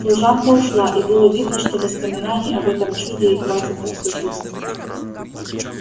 служанка ушла и было видно что воспоминаний об этом чуде ей хватит на всю жизнь